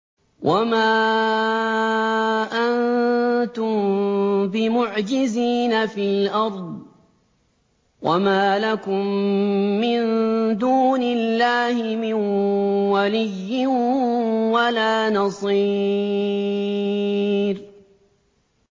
وَمَا أَنتُم بِمُعْجِزِينَ فِي الْأَرْضِ ۖ وَمَا لَكُم مِّن دُونِ اللَّهِ مِن وَلِيٍّ وَلَا نَصِيرٍ